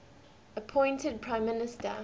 appointed prime minister